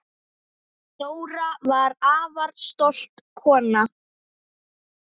Dóra var afar stolt kona.